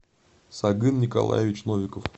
сагын николаевич новиков